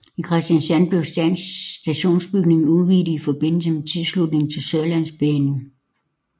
I Kristiansand blev stationsbygningen udvidet i forbindelse med tilslutningen til Sørlandsbanen